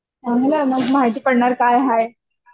चांगल आहे मग माहिती पडणार काय हाय.